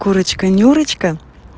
курочка нюрочка